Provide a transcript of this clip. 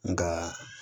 Nka